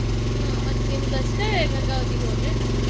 ಹ್ಮ್ ಮತ್ ನಿಮ್ದ್ ಅಷ್ಟೇ ಗಂಗಾವತಿಗ್ ಹೋದ್ರೆನ್.